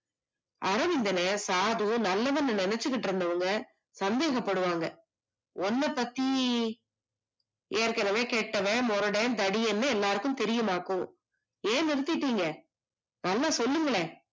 அரவிந்தன சாது நல்லவன்னு நினைச்சுகிட்டு இருந்தவங்க சந்தேகப்படுவாங்க, உண்ண பத்தி ஏற்க்கனவே கேட்டவேன் மொரடன் தடியேன்னு எல்லாருக்கும் தெரியும்மாக்கும். ஏன் நிறுத்திட்டீங்க நல்லா சொல்லுங்களே